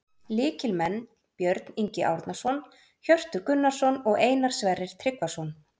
Lykilmenn: Björn Ingi Árnason, Hjörtur Gunnarsson og Einar Sverrir Tryggvason